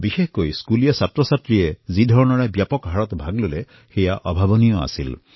বিশেষকৈ বিদ্যালয়ৰ শিক্ষাৰ্থীসকলে যি ধৰণে অংশগ্ৰহণ কৰিলে সেয়া অতুলনীয় আছিল